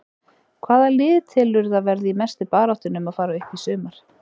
Hvaða lið telurðu að verði í mestu baráttunni um að fara upp í sumar?